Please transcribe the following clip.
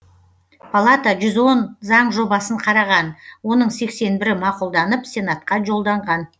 палата жүз он заң жобасын қараған оның сексен бірі мақұлданып сенатқа жолданған